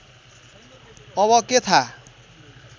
अब के थाहा